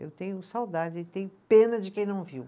Eu tenho saudade e tenho pena de quem não viu.